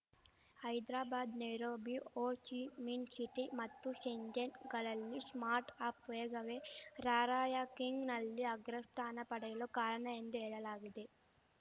Hyderabad Nairobi Ho Chi Minh City ಮತ್ತು ಶೆಂಜೆಹೆನ್‌ಗಳಲ್ಲಿ startup ವೇಗವೇ ರಾರ‍ಯಂಕಿಂಗ್‌ನಲ್ಲಿ ಅಗ್ರಸ್ಥಾನ ಪಡೆಯಲು ಕಾರಣ ಎಂದು ಹೇಳಲಾಗಿದೆ